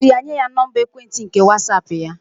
Osiri ya nye ya Nọmba ekwentị nke Whatsaapp ya.